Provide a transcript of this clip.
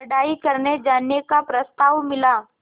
पढ़ाई करने जाने का प्रस्ताव मिला